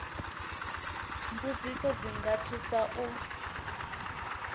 mbudziso dzi nga thusa u